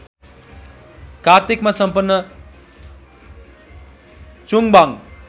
कार्तिकमा सम्पन्न चुङबाङ